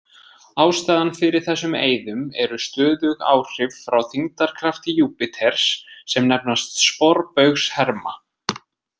Ástæðan fyrir þessum eyðum eru stöðug áhrif frá þyngdarkrafti Júpíters sem nefnast sporbaugsherma.